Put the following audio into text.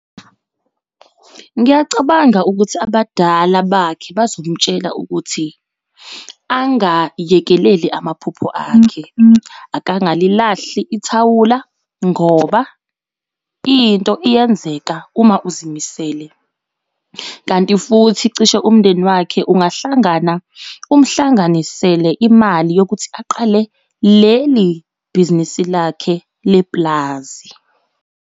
Ngiyacabanga ukuthi abadala bakhe bazomtshela ukuthi angayekeleli amaphupho akhe. Akangalilahli ithawula ngoba into iyenzeka uma uzimisele. Kanti futhi cishe umndeni wakhe ungahlangana umhlanganisele imali yokuthi aqale leli bhizinisi lakhe lepulazi.